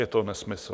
Je to nesmysl.